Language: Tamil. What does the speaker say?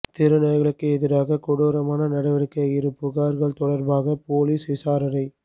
தெருநாய்களுக்கு எதிராக கொடுரமான நடடிவக்கை இரு புகார்கள் தொடர்பாக போலீஸ் விசாரணை